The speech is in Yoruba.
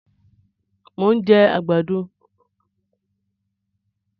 Mo ń jẹ àgbàdo